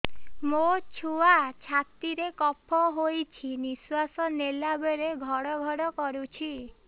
ମୋ ଛୁଆ ଛାତି ରେ କଫ ହୋଇଛି ନିଶ୍ୱାସ ନେଲା ବେଳେ ଘଡ ଘଡ କରୁଛି